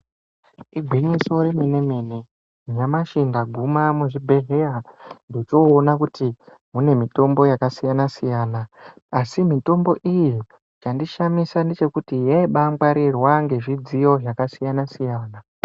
Igwinyiso remene-mene nyamashi ndaguma muchibhedhlera ndechoona kuti munemitombo yakasiyana-siyana, asi mitombo iyi, chandishamisa ngechekuti yaibangarirwa ngezvidziyo zvakasiyana-siyana.